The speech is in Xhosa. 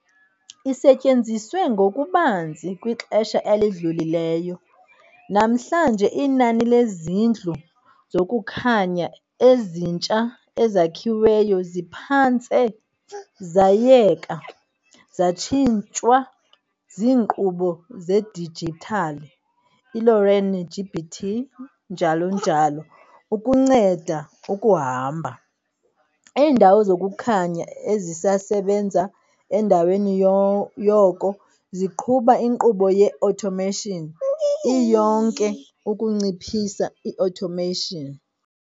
Isetyenziswe ngokubanzi kwixesha elidlulileyo, namhlanje inani lezindlu zokukhanya ezintsha ezakhiweyo ziphantse zayeka, zatshintshwa ziinkqubo zedijithali, iLORAN, GPT, njl. ukunceda ukuhamba- iindawo zokukhanya ezisasebenza endaweni yoko ziqhuba inkqubo ye-automation iyonke ukunciphisa i-automation.